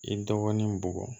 I dɔgɔnin bugɔ